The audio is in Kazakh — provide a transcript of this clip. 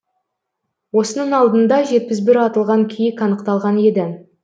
осының алдында жетпіс бір атылған киік анықталған еді